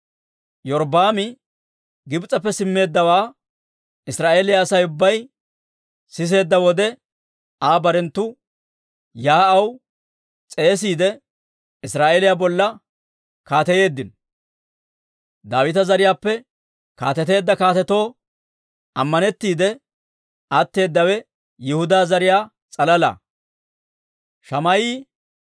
Iyorbbaami Gibs'eppe simmeeddawaa Israa'eeliyaa Asay ubbay siseedda wode, Aa barenttu yaa'aw s'eesissiide, Israa'eeliyaa bolla kaateyeeddino; Daawita zariyaappe kaateteedda kaatetoo ammanettiide atteedawe Yihudaa zariyaa s'alala.